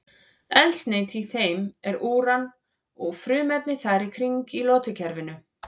Eldsneyti í þeim er úran eða frumefni þar í kring í lotukerfinu.